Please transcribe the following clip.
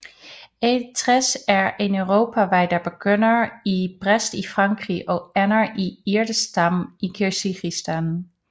E60 er en europavej der begynder i Brest i Frankrig og ender i Irkeshtam i Kirgisistan